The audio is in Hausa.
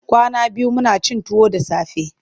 Kwana biyu muna cin tuwo da safe.